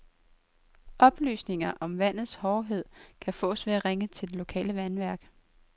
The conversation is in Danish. Oplysninger om vandets hårdhed kan fås ved at ringe til det lokale vandværk.